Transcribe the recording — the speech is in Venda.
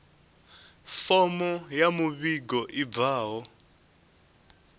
fomo ya muvhigo i bvaho